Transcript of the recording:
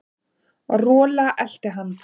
Rola elti hann.